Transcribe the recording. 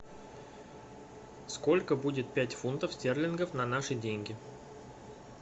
сколько будет пять фунтов стерлингов на наши деньги